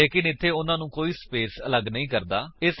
ਲੇਕਿਨ ਇੱਥੇ ਉਨ੍ਹਾਂਨੂੰ ਕੋਈ ਸਪੇਸ ਅਲਗ ਨਹੀਂ ਕਰਦਾ ਹੈ